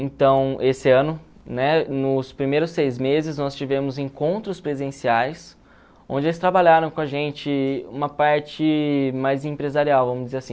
Então, esse ano, né, nos primeiros seis meses, nós tivemos encontros presenciais, onde eles trabalharam com a gente uma parte mais empresarial, vamos dizer assim.